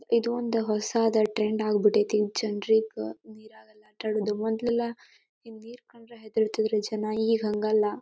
ಇದೊಂದ ಹೊಸಾದ ಟ್ರೆಂಡ್ ಆಗ್ಬಿಟ್ಟೈತಿ ಜನರಿಗ ನೀರಾಗೆಲ್ಲ ಆಟ ಆಡೋದು ಮೊದಲೆಲ್ಲ ಹಿಂಗ್ ನೀರ್ ಕಂಡ್ರ ಹೆದರುತಿದ್ರ ಜನ ಈಗ ಹಂಗಲ್ಲ.